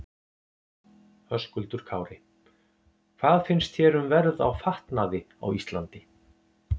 Höskuldur Kári: Hvað finnst þér um verð á fatnaði á Íslandi?